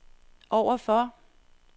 overfor